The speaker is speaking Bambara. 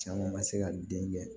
Caman ka se ka den kɛ